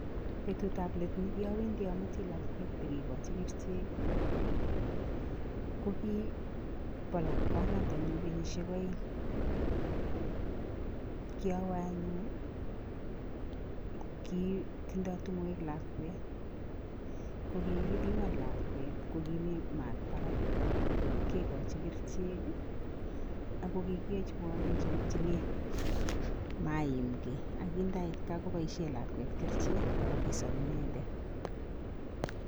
Petutab let ne kiowendi amuti lakwet bi kikochi kerichek ii, ko ki bo lakwanatanyu kenyisiek aeng, kiowe anyun ii, ki tindoi tungwek lakwet, ko kikipiman lakwet ko kimi maat barak, kekochi kerichek ii, ako kikiyoiwo eng chokchinet maimkei ak kii ndait gaa koboisie lakwet kerichek ako kisop inendet.